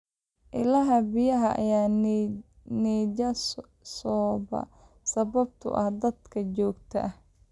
Ilaha biyaha ayaa nijaasooba sababtoo ah daadadka joogtada ah.